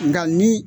Nka ni